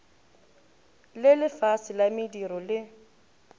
le lefase la mediro le